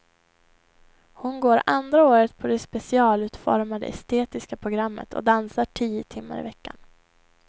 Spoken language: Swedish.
Hon går andra året på det specialutformade estetiska programmet och dansar tio timmar i veckan.